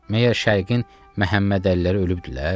Məyər Şərqin Məhəmməd Əliləri ölübdülər?